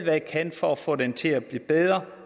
jeg kan for at få den til at blive bedre